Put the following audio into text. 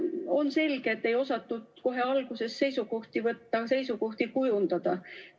On selge, et ei osatud kohe alguses seisukohti võtta, seisukohti kujundada.